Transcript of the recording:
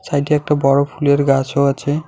সাইডে একটা বড় ফুলের গাছও আছে।